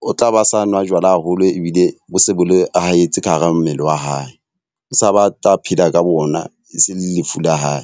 o tla ba sa nwa jwala haholo ebile bo se bo le haetse ka hara mmele wa hae. O sa ba tla phela ka bona, e se lefu la hae.